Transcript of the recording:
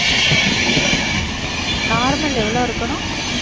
உம் normal எவ்வளவு இருக்கணும்